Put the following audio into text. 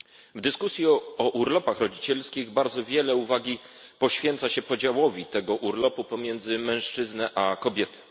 W dyskusji o urlopach rodzicielskich bardzo wiele uwagi poświęca się podziałowi tego urlopu między mężczyznę a kobietę.